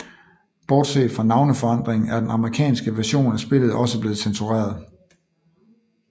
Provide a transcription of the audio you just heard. Bortset fra navneforandringen er den amerikanske version af spillet også blevet censureret